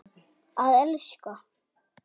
Að elska.